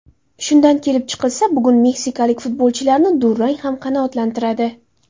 Shundan kelib chiqilsa, bugun meksikalik futbolchilarni durang ham qanoatlantiradi.